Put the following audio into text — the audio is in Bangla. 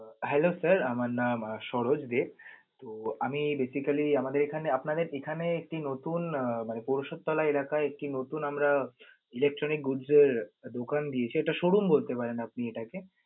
Hello sir আমার নাম সরজ দে, আমি basically আমাদের এখানে, আপনাদের এখানে একটি নতুন আহ মানে পরিষদ তলা এলাকায় একটি নতুন আমরা electronic দোকান দিয়েছি, এটা showroom বলতে পারেন আপনি এটাকে.